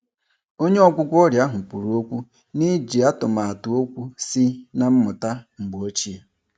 Onye ọgwụgwọ ọrịa ahụ kwụrụ okwu n'iji atụmatụ okwu sị na mmụta mgbe ochie.